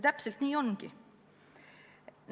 Täpselt nii ongi.